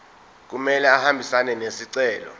kumele ahambisane nesicelo